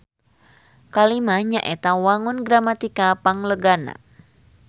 Kalimah nyaeta wangun gramatikal panglegana.